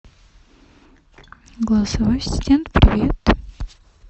голосовой ассистент привет